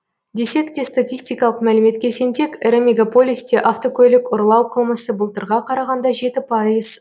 десек те статистикалық мәліметке сенсек ірі мегаполисте автокөлік ұрлау қылмысы былтырға қарағанда жеті пайыз